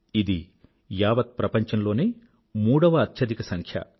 ఇది యావత్ ప్రపంచంలోనే మూడవ అత్యధికసంఖ్య